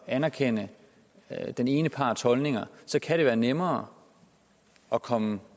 at anerkende den ene parts holdninger kan det være nemmere at komme